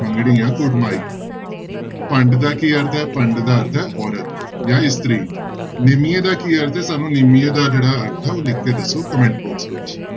ਮੰਗਣੀ ਜਾਂ ਕੁੜਮਾਈ ਭੰਡ ਦਾ ਕੀ ਅਰਥ ਹੈ ਭੰਡ ਦਾ ਅਰਥ ਹੈ ਔਰਤ ਜਾਂ ਇਸਤਰੀ, ਨਿਮੀਏ ਦਾ ਕੀ ਅਰਥ ਹੈ ਸਾਨੂੰ ਨਿਮੀਏ ਦਾ ਜਿਹੜਾ ਅਰਥ ਹੈ ਉਹ ਲਿਖ ਕੇ ਦੱਸੋ comment box ਵਿੱਚ।